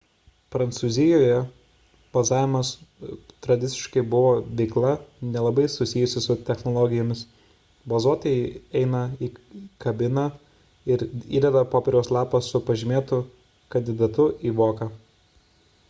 prancūzijoje balsavimas tradiciškai buvo veikla nelabai susijusi su technologijomis balsuotojai įeina į kabiną ir įdeda popieriaus lapą su pažymėtu kandidatu į voką